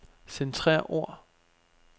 Centrer ord.